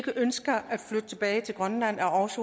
er også